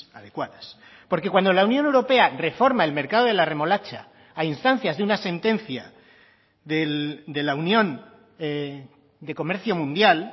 adecuadas porque cuando la unión europea reforma el mercado de la remolacha a instancias de una sentencia de la unión de comercio mundial